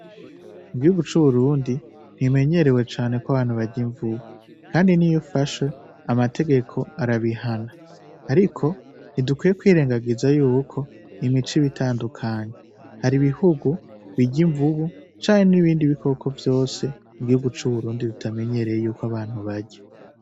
Mu gihugu c'u Burundi ntibimenyerewe cane ko abantu barya imvubu kandi niyo ufashwe amategeko arabihana ariko ntidukwiye kwirengagiza yuko imico iba itandukanye hari ibihugu birya imvubu canke n'ibindi bikoko vyose igihungu c'u Burundi kitamenyereye yuko abantu barya.